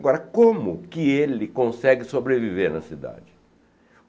Agora, como que ele consegue sobreviver na cidade?